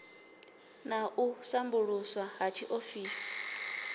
na u sambuluswa ha tshiofisi